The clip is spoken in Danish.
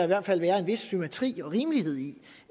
hvert fald være en vis symmetri og rimelighed i